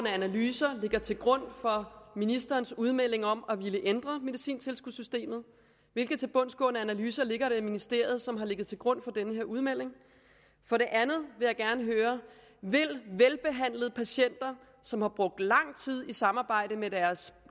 analyser ligger til grund for ministerens udmelding om at ville ændre medicintilskudssystemet hvilke tilbundsgående analyser ligger der i ministeriet som har ligget til grund for denne udmelding for det andet vil jeg gerne høre vil velbehandlede patienter som har brugt lang tid i samarbejde med deres